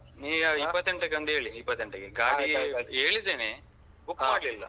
ನೀವು ಇಪ್ಪತ್ತೆಂಟಕ್ಕೆ ಒಂದು ಹೇಳಿ ಇಪ್ಪತ್ತೆಂಟಕ್ಕೆ ಗಾಡಿ ಹೇಳಿದ್ದೇನೆ book ಮಾಡ್ಲಿಲ್ಲ.